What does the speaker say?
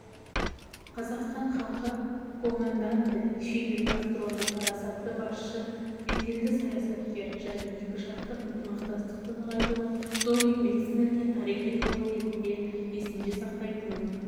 қазақстан халқы командантэ фидель кастроны парасатты басшы беделді саясаткер және екіжақты ынтымақтастықты нығайтуға зор еңбек сіңірген тарихи тұлға ретінде есінде сақтайтын